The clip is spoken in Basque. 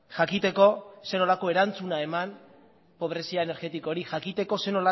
jakiteko zer nolako erantzuna eman pobrezia energetikoari jakiteko zer